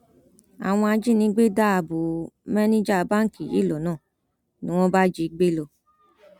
àwọn ajínigbé dá bò manager báǹkì yìí lọnà ni wọn bá jí i gbé lọ